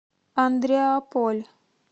андреаполь